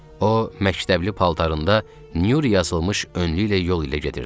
O məktəbli paltarında Nur yazılmış önlüyü ilə yol ilə gedirdi.